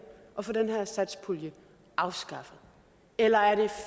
og få den her satspulje afskaffet eller er det